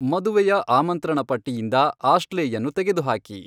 ಮದುವೆಯ ಆಮಂತ್ರಣ ಪಟ್ಟಿಯಿಂದ ಆಶ್ಲೇಯನ್ನು ತೆಗೆದುಹಾಕಿ